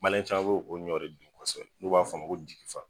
Mali ca' o de dun kɔ kɔfɛ n' b'a fɔ ko jigifa